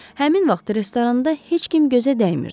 Həmin vaxt restoranda heç kim gözə dəymirdi.